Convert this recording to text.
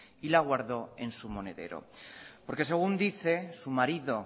y la guardó en su monedero porque según dice su marido